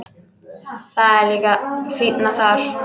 Það er líka fínna þar.